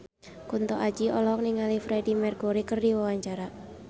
Kunto Aji olohok ningali Freedie Mercury keur diwawancara